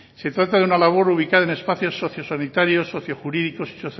se trata de una labor ubicada en espacios socio sanitarios socio jurídicos y